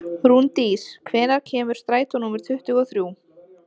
Rúndís, hvenær kemur strætó númer tuttugu og þrjú?